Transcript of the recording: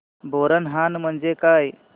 बोरनहाण म्हणजे काय